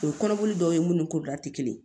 O ye kɔnɔboli dɔw ye munnu ni ti kelen ye